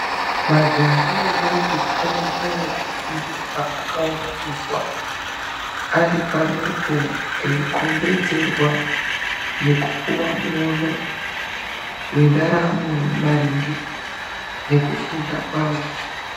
Majaha ne ntombi ane nguwa yekufundiswa vakaunganidzwa ari pamwepo eikhombedzerwa nekupuwa muono wendaramo maringe nekufunda kwavo.